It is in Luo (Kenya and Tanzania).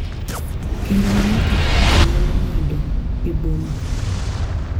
kendo ma ng’ato ka ng’ato nyalo ng’ado e boma.